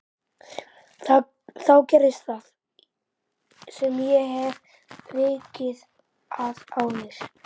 Þá gerist það sem ég hef vikið að áður